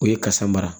O ye kasa mara